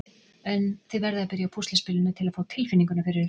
En þið verðið að byrja á púsluspilinu til að fá tilfinninguna fyrir þessu.